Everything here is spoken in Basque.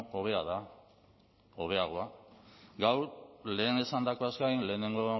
hobea da hobeagoa gaur lehen esandakoaz gain lehenengo